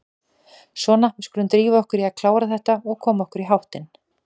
Svona, við skulum drífa okkur í að klára þetta og koma okkur í háttinn.